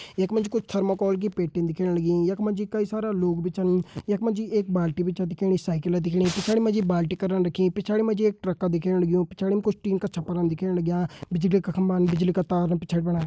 यखमा जी कोई थर्मोकोल की पेट्टिन दिखेण लगीं यखमा जी कई सारा लोग भी छन यखमा जी एक बाल्टी भी छ दिखेणी साईकल दिखेणी पिछाड़ी मा जी बाल्टी करन रखी पिछाड़ी मा जी एक ट्रक का दिखेण लग्यूं पिछाड़िम कुछ टीन कर छप्परन दिखेण लग्यां बिजली का खम्बान बिजली का तार पिछाड़ी फणा।